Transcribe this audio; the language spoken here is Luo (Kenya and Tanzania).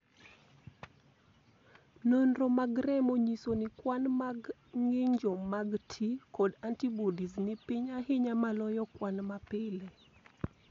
Nonro mag remo nyiso ni kwan mar ng'injo mag T kod antibodies ni piny ahinya maloyo kwan mapile.